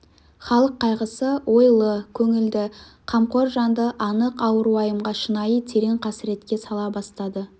халық қайғысы ойлы көңілді қамқор жанды анық ауыр уайымға шынайы терең қасіретке сала бастады